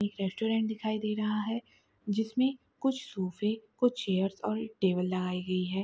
एक रेस्टोरेंट दिखाई दे रहा है जिस में कुछ सोफ़े कुछ चेयर्स और टेबल लगाई गई है।